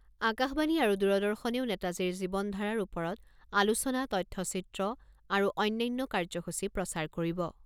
আকাশবাণী আৰু দূৰদৰ্শনেও নেতাজীৰ জীৱনধাৰাৰ ওপৰত আলোচনা, তথ্যচিত্ৰ আৰু অন্যান্য কাৰ্যসূচী প্ৰচাৰ কৰিব।